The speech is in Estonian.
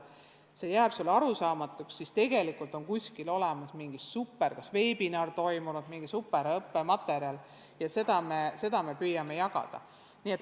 Kui midagi jääb arusaamatuks, siis tegelikult on kuskil olemas mingi superhea veebiseminar, mingi superõppematerjal – ja seda me püüame jagada.